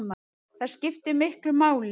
Það skiptir miklu máli